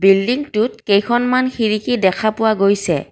বিল্ডিংটোত কেইখনমান খিৰিকী দেখা পোৱা গৈছে।